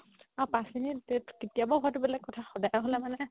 আৰু পাচ minute কেতিয়াবা হয়টো বেলেগ কথা সদায় হ'লে মানে